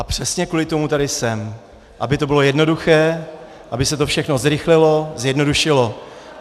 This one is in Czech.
A přesně kvůli tomu tady jsem, aby to bylo jednoduché, aby se to všechno zrychlilo, zjednodušilo.